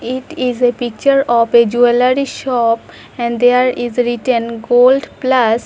It is a picture of a jewellery shop and there is written gold plus.